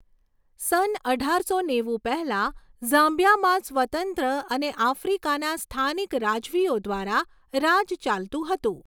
સન અઢારસો નેવું પહેલાં ઝામ્બિયામાં સ્વતંત્ર અને આફ્રિકાના સ્થાનીક રાજવીઓ દ્વારા રાજ ચાલતું હતું.